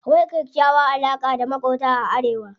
Akwai kyakkyawan alaƙa da maƙota a arewa.